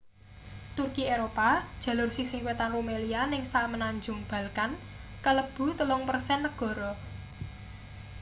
turki eropa jalur sisih wetan rumelia ning semenanjung balkan kalebu 3% negara